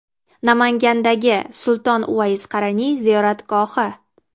Namangandagi Sulton Uvays Qaraniy ziyoratgohi .